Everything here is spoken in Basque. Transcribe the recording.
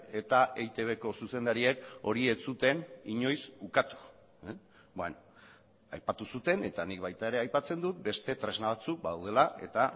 eta eitbko zuzendariek hori ez zuten inoiz ukatu aipatu zuten eta nik baita ere aipatzen dut beste tresna batzuk badaudela eta